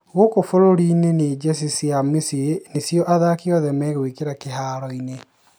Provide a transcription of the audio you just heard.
Gũkũ burũrini nĩ jezi cia mĩciĩ nĩcio athaki othe megũikĩra kĩharoinĩ